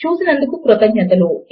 చూసినందుకు కృతజ్ఞతలు